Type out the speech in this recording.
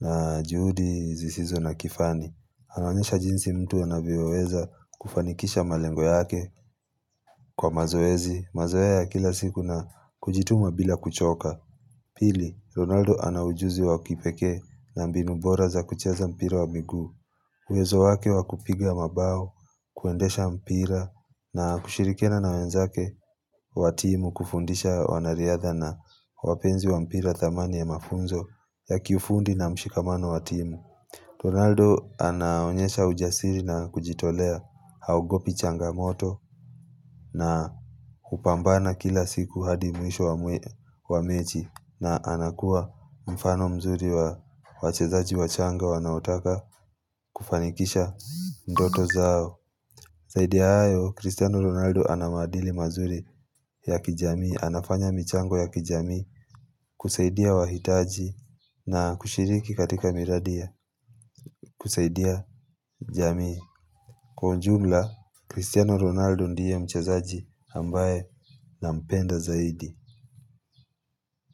na juhudi zisizo na kifani. Anaonyesha jinsi mtu anavyo weza kufanikisha malengo yake kwa mazoezi. Mazoea ya kila siku na kujituma bila kuchoka. Pili, Ronaldo ana ujuzi wa kipekee na mbinu bora za kucheza mpira wa miguu. Uwezo wake wakupiga mabao, kuendesha mpira na kushirikina na wenzake wa timu kufundisha wanariadha na wapenzi wa mpira wa thamani ya mafunzo ya kifundi na mshikamano watimu. Ronaldo anaonyesha ujasiri na kujitolea haogopi changamoto na upambana kila siku hadi mwisho wa mechi na anakuwa mfano mzuri wa wachezaji wa changa wanaotaka kufanikisha ndoto zao. Zaidi ya hayo, Cristiano Ronaldo ana maadili mazuri ya kijamii, anafanya michango ya kijamii kusaidia wahitaji na kushiriki katika miradi ya kusaidia jamii. Kwa ujumla, Cristiano Ronaldo ndiye mchazaji ambaye nampenda zaidi.